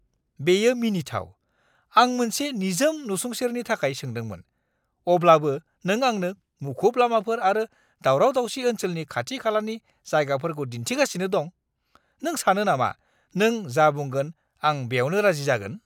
बेयो मिनिथाव! आं मोनसे निजोम नसुंसेनि थाखाय सोंदोंमोन, अब्लाबो नों आंनो मुखुब लामाफोर आरो दावराव-दावसि ओनसोलनि खाथि-खालानि जायगाफोरखौ दिन्थिगासिनो दं। नों सानो नामा, नों जा बुंगोन, आं बेवनो राजि जागोन?